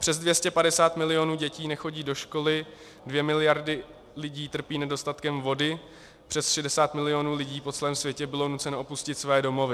Přes 250 milionů dětí nechodí do školy, 2 miliardy lidí trpí nedostatkem vody, přes 60 milionů lidí po celém světě bylo nuceno opustit své domovy.